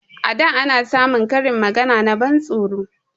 A da ana samun karin magana na ban tsoro